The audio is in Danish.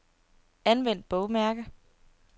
Anvend bogmærker.